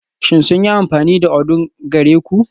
Shin sun yi amfani da odunng gare ku?